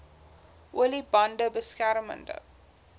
olie bande beskermende